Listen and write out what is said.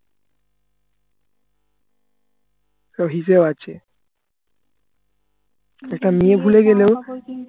হিসেবে আছে একটা মেয়ে ভুলে গেলেও